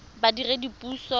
badiredipuso